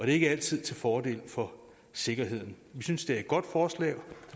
ikke altid til fordel for sikkerheden vi synes det er et godt forslag